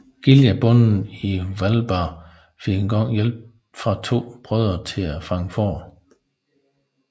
Giljabonden i Hvalba fik en gang hjælp fra to af brødrene til at fange får